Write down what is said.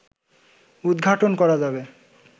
উদঘাটন করা যাবে